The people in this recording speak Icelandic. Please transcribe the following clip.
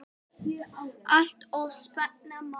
Allt of snemma.